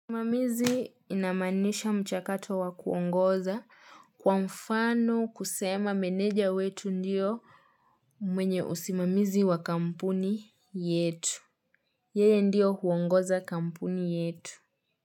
Usimamizi inamanisha mchakato wa kuongoza kwa mfano kusema meneja wetu ndiyo mwenye usimamizi wa kampuni yetu. Yeye ndiyo huongoza kampuni yetu.